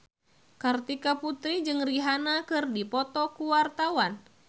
Kartika Putri jeung Rihanna keur dipoto ku wartawan